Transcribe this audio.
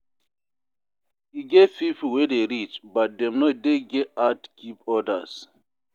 E get pipo wey dey rich but dem no dey get heart give odas.